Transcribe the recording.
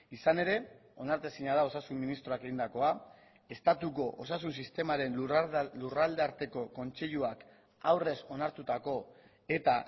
izan ere onartezina da osasun ministroak egindakoa estatuko osasun sistemaren lurraldearteko kontseiluak aurrez onartutako eta